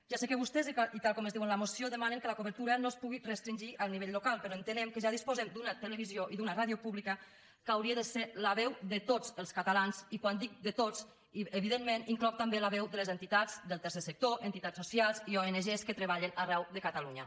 ja sé que vostès i tal com es diu en la moció demanen que la cobertura no es pugui restringir al nivell local però entenem que ja disposem d’una televisió i d’una ràdio públiques que haurien de ser la veu de tots els catalans i quan dic de tots evidentment hi incloc també la veu de les entitats del tercer sector entitats socials i ong que treballen arreu de catalunya